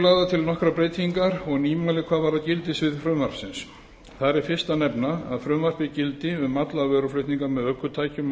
lagðar til nokkrar breytingar og nýmæli hvað varðar gildissvið frumvarpsins þar er fyrst að nefna að frumvarpið gildi um allan vöruflutning með ökutækjum á